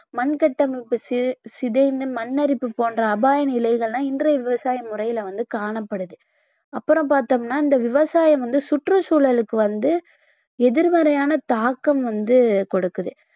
மண் கட்டமைப்பு சி~ சிதைந்து மண் அரிப்பு போன்ற அபாய நிலைகள் எல்லாம் இன்றைய விவசாய முறையில வந்து காணப்படுது. அப்புறம் பார்த்தோம்னா இந்த விவசாயம் வந்து சுற்றுச்சூழலுக்கு வந்து எதிர்மறையான தாக்கம் வந்து கொடுக்குது.